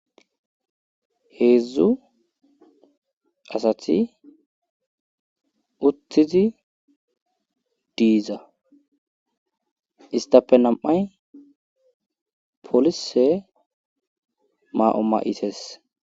heedzdzu asati uttizi diiza istape nam7ay polise ma7o ma7ides.